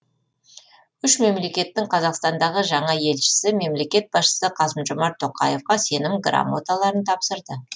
үш мемлекеттің қазақстандағы жаңа елшісі мемлекет басшысы қасым жомарт тоқаевқа сенім грамоталарын тапсырды